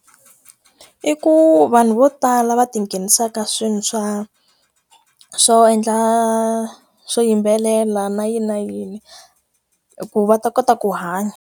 I ku vanhu vo tala va ti nghenisaka swo endla swo yimbelela na yi na yini, hikuva va ta kota ku hanya.